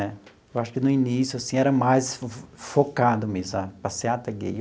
Eu acho que no início assim era mais focado mesmo sabe a Passeata Gay.